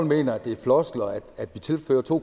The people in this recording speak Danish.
mener at det er floskler at vi tilfører to